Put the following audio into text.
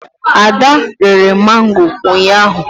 ada ree mango ụnyahụ